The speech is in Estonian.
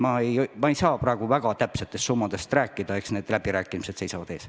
Ma ei saa praegu veel väga täpsetest summadest rääkida, aga eks läbirääkimised seisavad ees.